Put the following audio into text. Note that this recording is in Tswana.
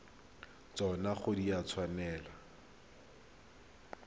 tsona ga di a tshwanela